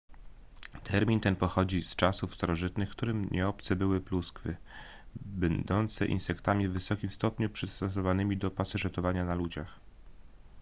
termin ten pochodzi z czasów starożytnych którym nieobce były pluskwy będące insektami w wysokim stopniu przystosowanymi do pasożytowania na ludziach